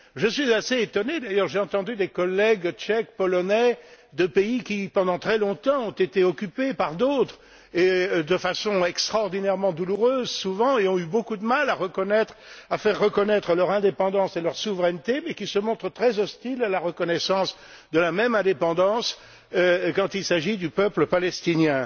Je suis assez étonné d'ailleurs, car j'ai entendu des collègues tchèques, polonais, de pays qui, pendant très longtemps, ont été occupés par d'autres, et de façon extraordinairement douloureuse souvent, et ont eu beaucoup de mal à faire reconnaître leur indépendance et leur souveraineté mais qui se montrent très hostiles à la reconnaissance de la même indépendance quand il s'agit du peuple palestinien.